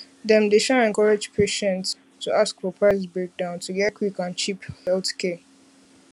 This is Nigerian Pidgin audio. dem dey um encourage patients encourage patients um to ask for price breakdown to get quick and cheap healthcare